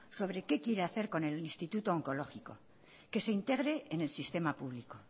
sobre qué quiere hacer con el instituto oncológico que se integre en el sistema público